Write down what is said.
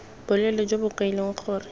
boleele jo bo kailweng gore